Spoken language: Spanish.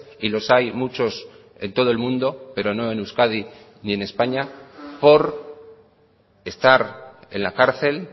y los hay muchos en todo el mundo pero no en euskadi ni en españa por estar en la cárcel